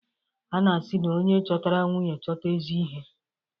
A na-asị na "Onye chọtara nwunye, chọta ezi ihe".